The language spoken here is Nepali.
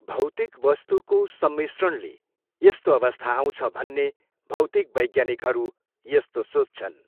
भौतिक वस्तुको सम्रिस्रणले यस्तो अवस्था आउँछ भन्ने भौतिक वैज्ञानिकहरू यस्तो सोच्छन्।